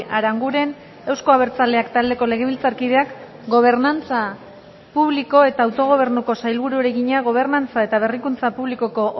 aranguren euzko abertzaleak taldeko legebiltzarkideak gobernantza publiko eta autogobernuko sailburuari egina gobernantza eta berrikuntza publikoko